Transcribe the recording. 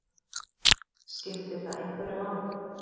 Skiptir það einhverju máli?